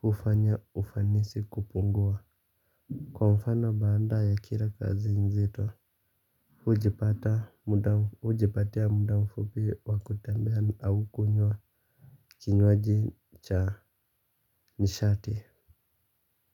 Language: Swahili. Kufanya ufanisi kupungua. Kwa mfano baadaye kila kazi nzito hujipatia muda mfupi wakutemea au kunywa kinywaji cha nishati.